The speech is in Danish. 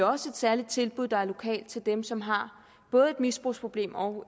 også et særligt tilbud der er lokalt til dem som har både et misbrugsproblem og